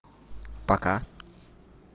пока